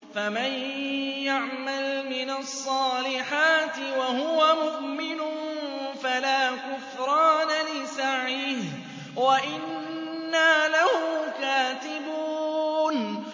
فَمَن يَعْمَلْ مِنَ الصَّالِحَاتِ وَهُوَ مُؤْمِنٌ فَلَا كُفْرَانَ لِسَعْيِهِ وَإِنَّا لَهُ كَاتِبُونَ